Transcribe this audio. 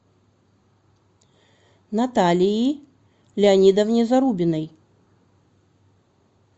наталии леонидовне зарубиной